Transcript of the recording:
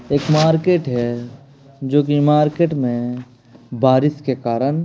एक मार्केट हैं जो कि मार्केट में बारिश के कारण --